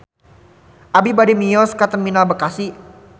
Abi bade mios ka Terminal Bekasi